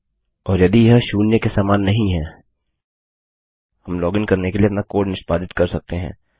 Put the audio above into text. और यदि यह शून्य के समान नहीं है हम लॉगिन करने के लिए अपना कोड निष्पादित कर सकते हैं